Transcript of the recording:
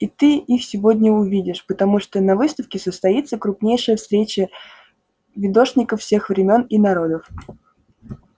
и ты их сегодня увидишь потому что на выставке состоится крупнейшая встреча видошников всех времён и народов